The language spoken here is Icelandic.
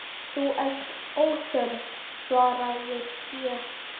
Þú ert óþörf, svaraði ég.